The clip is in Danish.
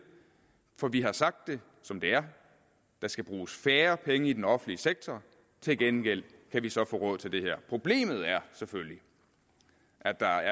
for vi har sagt det som det er der skal bruges færre penge i den offentlige sektor til gengæld kan vi så få råd til det her problemet er selvfølgelig at der